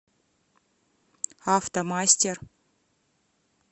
автомастер